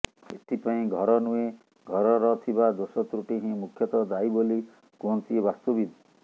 ଏଥିପାଇଁ ଘର ନୁହେଁ ଘରର ଥିବା ଦୋଷ ତ୍ରୁଟି ହିଁ ମୁଖ୍ୟତଃ ଦାୟି ବୋଲି କୁହନ୍ତି ବାସ୍ତୁବିଦ୍